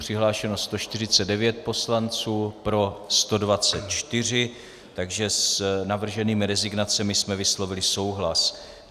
Přihlášeno 149 poslanců, pro 124, takže s navrženými rezignacemi jsme vyslovili souhlas.